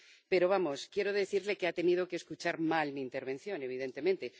Pero, vamos, quiero decirle que ha tenido que escuchar mal mi intervención, evidentemente.